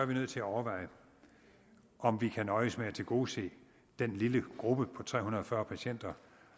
vi nødt til at overveje om vi kan nøjes med at tilgodese den lille gruppe på tre hundrede og fyrre patienter